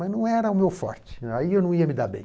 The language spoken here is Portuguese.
Mas não era o meu forte, aí eu não ia me dar bem.